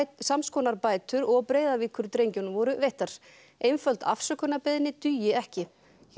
sams konar bætur og voru veittar einföld afsökunarbeiðni dugi ekki